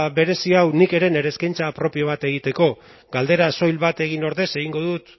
berezi hau nik ere eskaintza propio bat egiteko galdera soil bat egin ordez egingo dut